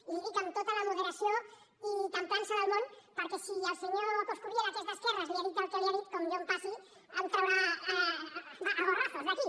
i li ho dic amb tota la moderació i temprança del món perquè si al senyor coscubiela que és d’esquerres li ha dit el que li ha dit com jo em passi em traurà a gorrazos d’aquí